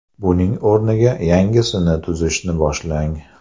Buning o‘rniga yangisini tuzishni boshlang.